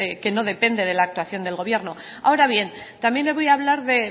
que no depende de la actuación del gobierno ahora bien también le voy a hablar